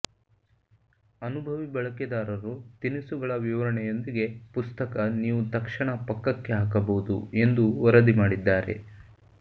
ಅನುಭವಿ ಬಳಕೆದಾರರು ತಿನಿಸುಗಳ ವಿವರಣೆಯೊಂದಿಗೆ ಪುಸ್ತಕ ನೀವು ತಕ್ಷಣ ಪಕ್ಕಕ್ಕೆ ಹಾಕಬಹುದು ಎಂದು ವರದಿ ಮಾಡಿದ್ದಾರೆ